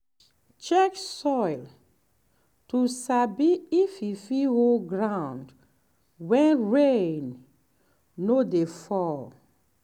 check soil to sabi if e fit hold ground when rain no dey fall.